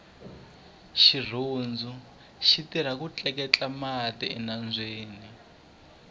xirhundu xitirha ku tleketla mati enambyeni